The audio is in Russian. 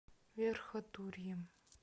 верхотурьем